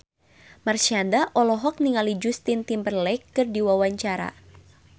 Marshanda olohok ningali Justin Timberlake keur diwawancara